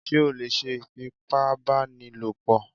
Ṣé o lè ṣe ìfipábánilòpọ̀?